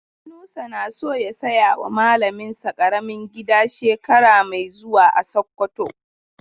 Yunusa na so ya saya wa malamin sa ƙaramin gida shekara mai zuwa a Sokoto.